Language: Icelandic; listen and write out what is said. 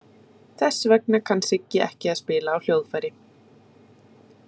Þess vegna kann Sigga ekki að spila á hljóðfæri.